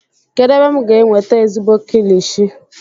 kedu ebe m ga-enweta ezigbo kilichi?